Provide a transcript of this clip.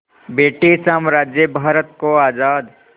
British साम्राज्य भारत को आज़ाद